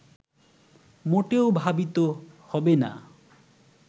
মোটেও ভাবিত হবে না